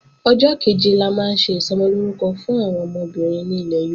Ọjọ́ kẹ̀jẹ la máa ń ṣe Ìsọmọlórúkọ fún àwọn ọmọbìnrin ní ilẹ̀ Yorùbá